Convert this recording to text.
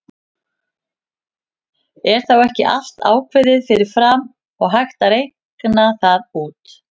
Er þá ekki allt ákveðið fyrir fram og hægt að reikna það út?